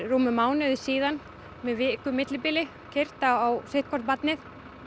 mánuði síðan með viku millibili þar keyrt var á sitthvort barnið